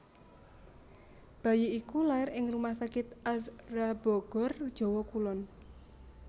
Bayi iku lair ing rumah sakit Azhra Bogor Jawa Kulon